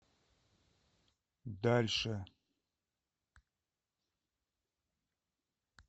дальше